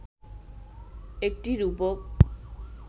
একটি রূপক